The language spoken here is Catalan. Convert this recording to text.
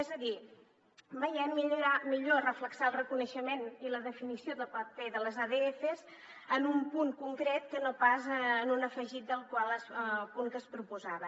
és a dir veiem millor reflectir el reconeixement i la definició del paper de les adfs en un punt concret que no pas en un afegit del punt que es proposava